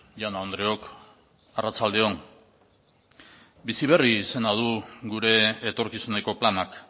jaun andreok arratsalde on bizi berri izena du gure etorkizuneko planak